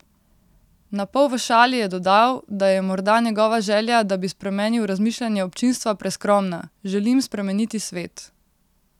Na pol v šali je dodal, da je morda njegova želja, da bi spremenil razmišljanje občinstva, preskromna: "Želim spremeniti svet.